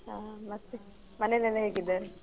ಆ ಮತ್ತೆ ಮನೇಲ್ ಎಲ್ಲ ಹೇಗ್ ಇದ್ದಾರೆ?